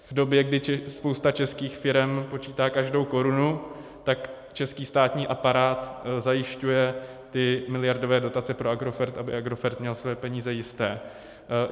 V době, kdy spousta českých firem počítá každou korunu, tak český státní aparát zajišťuje ty miliardové dotace pro Agrofert, aby Agrofert měl své peníze jisté.